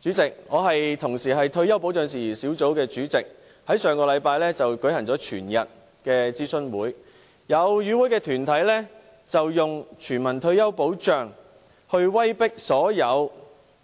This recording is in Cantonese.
主席，我同時是退休保障事宜小組委員會主席，我們在上星期舉行了全天的諮詢會，有與會團體以全民退休保障來威迫所有